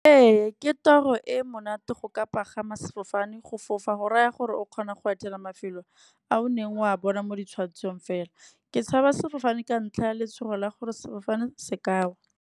Ee ke toro e monate go ka pagama sefofane, go fofa go raya gore o kgona go etela mafelo a o neng wa bona mo ditshwetsong fela. Ke tshabe sefofane ka ntlha ya letshogo la gore sefofane se ka wa.